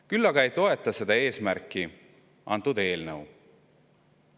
Küll aga ei toeta seda eesmärki antud eelnõu.